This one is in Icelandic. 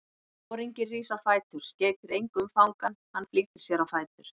Foringinn rís á fætur, skeytir engu um fangann, hann flýtir sér á fætur.